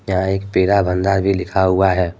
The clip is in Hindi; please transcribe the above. यहाँ एक पेड़ा भंडार भी लिखा हुआ है।